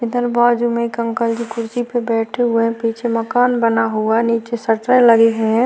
इधर बाजू में एक अंकल जी कुर्सी पर बैठे हुए हैं पीछे मकान बना हुआ है निचे शटरें लगीं हुईं हैं।